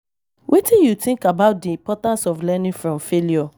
Wetin you think about di importance of learning from failure?